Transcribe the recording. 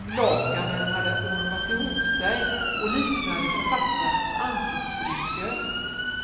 Lakanen hade ormat ihop sej och liknade författarens ansiktsrynkor.